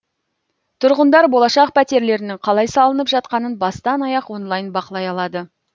тұрғындар болашақ пәтерлерінің қалай салынып жатқанын бастан аяқ онлайн бақылай алады